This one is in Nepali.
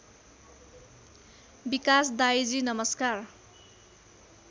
विकास दाइजी नमस्कार